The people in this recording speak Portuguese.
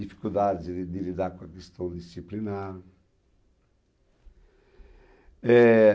Dificuldades de de lidar com a questão disciplinar. Eh...